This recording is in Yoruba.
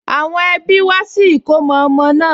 Àwọn ẹbí wá sí ìkómọ ọmọ náà